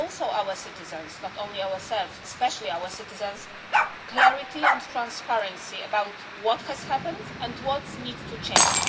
our citizens too not only ourselves, but especially our citizens clarity and transparency about what has happened and what needs to change.